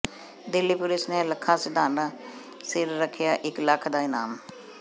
Delhi police ਨੇ ਲੱਖਾ ਸਿਧਾਣਾ ਸਿਰ ਰੱਖਿਆ ਇੱਕ ਲੱਖ ਦਾ ਇਨਾਮ